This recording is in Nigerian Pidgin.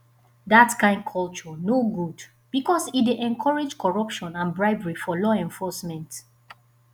dat kain culture no good because e dey encourage corruption and bribery for law enforcement